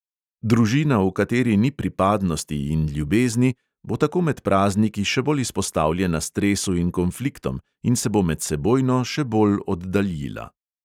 Družina, v kateri ni pripadnosti in ljubezni, bo tako med prazniki še bolj izpostavljena stresu in konfliktom in se bo medsebojno še bolj oddaljila.